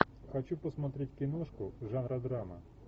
хочу посмотреть киношку жанра драма